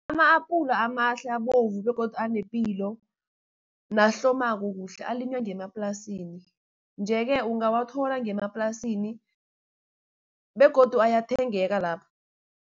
Ama-apula amahle abovu begodu anepilo nahlomako kuhle alinywa ngemaplasini. Nje-ke ungawathola ngemaplasini begodu ayathengeka lapha.